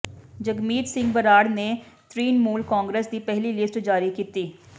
ਜਗਮੀਤ ਸਿੰਘ ਬਰਾੜ ਨੇ ਤ੍ਰਿਣਮੂਲ ਕਾਂਗਰਸ ਦੀ ਪਹਿਲੀ ਲਿਸਟ ਜ਼ਾਰੀ ਕੀਤੀ